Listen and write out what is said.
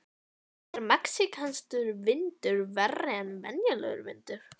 Er mexíkanskur vindur verri en venjulegur vindur?